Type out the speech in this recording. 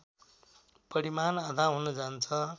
परिमाण आधा हुन जान्छ